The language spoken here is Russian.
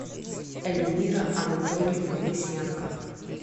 эльмира анатольевна лысенко